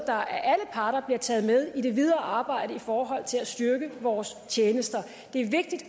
af alle parter bliver taget med i det videre arbejde i forhold til at styrke vores tjenester det er vigtigt